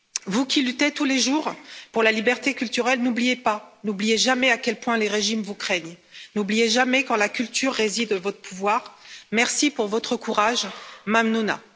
Vous qui luttez tous les jours pour la liberté culturelle, n'oubliez pas, n'oubliez jamais à quel point les régimes vous craignent, n'oubliez jamais qu'en la culture réside votre pouvoir. Merci pour votre courage. Mamnounam